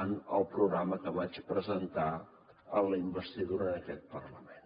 en el programa que vaig presentar en la investidura en aquest parlament